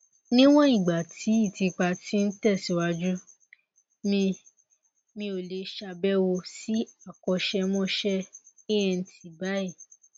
níwọn ìgbà tí ìtìpa ti ń tẹsíwájú mi mi ò lè ṣàbẹwò sí akọṣẹmọṣẹ ent báyìí